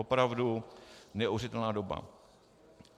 Opravdu neuvěřitelná doba.